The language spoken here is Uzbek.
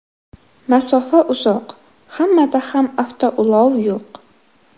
Masofa uzoq, hammada ham avtoulov yo‘q.